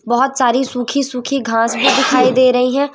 बहोत सारी सूखी सूखी घास भी दिखाई दे रही है।